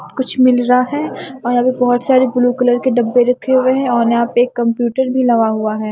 कुछ मिल रहा है और यहां पे बहोत सारे ब्लू कलर के डब्बे रखे हुए हैं और यहां पे एक कंप्यूटर भी लगा हुआ है।